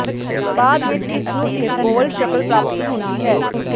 ਬਾਅਦ ਵਿਚ ਇਸ ਨੂੰ ਇੱਕ ਗੋਲ ਸ਼ਕਲ ਪ੍ਰਾਪਤੀ ਹੁੰਦੀ ਹੈ